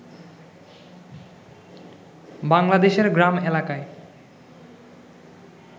বাংলাদেশের গ্রাম এলাকায়